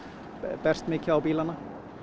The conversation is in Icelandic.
berst mikið á bílana